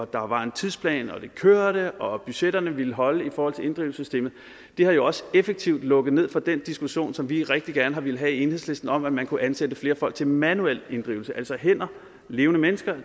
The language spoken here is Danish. der var en tidsplan at det kørte og at budgetterne ville holde i forhold til inddrivelsessystemet jo jo også effektivt har lukket ned for den diskussion som vi rigtig gerne har villet have i enhedslisten om at man kunne ansætte flere folk til manuel inddrivelse altså hænder levende mennesker